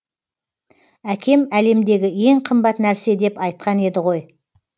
әкем әлемдегі ең қымбат нәрсе деп айтқан еді ғой